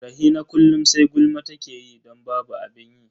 Rahina kullum sai gulma take yi don babu abin yi.